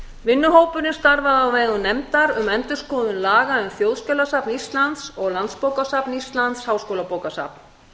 vinnuhópurinn starfaði á vegum nefndar um endurskoðun laga um þjóðskjalasafn íslands og landsbókasafn íslands háskólabókasafn